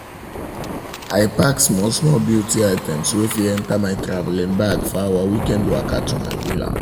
i pack small-small beauty items wey fit enter my travelling bag for our weekend waka to my villa